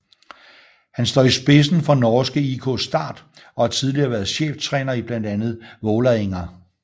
Han står i spidsen for norske IK Start og har tidligere været cheftræner i blandt andet Vålerenga